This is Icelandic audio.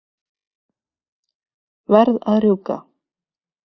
Verð að rjúka.